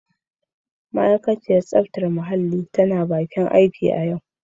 Ma'aikaciyar tsaftar muhalli tana bakin aiki a yau.